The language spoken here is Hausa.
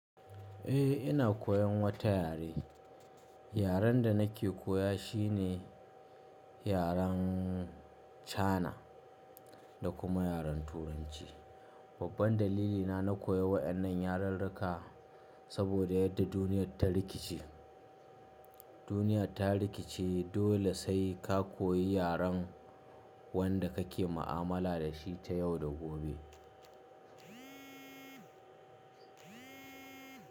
Eh, ina koyan wata yare. Yaren da nake koya shi ne yaren China da kuma yaren Turanci. Babban dalilina na koyan waɗannan yarirrika saboda yadda duniyyar ta rikice. Duniyyar ta rikice dole sai ka koyi yaren wanda kake mu'amala da shi ta yau da gobe.